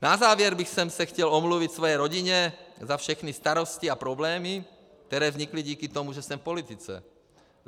Na závěr bych se chtěl omluvit své rodině za všechny starosti a problémy, které vznikly díky tomu, že jsem v politice.